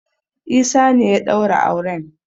Isa ne ya daura auren.